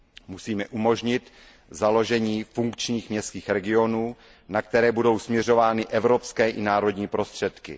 Musíme umožnit založení funkčních městských regionů, na které budou směřovány evropské i národní prostředky.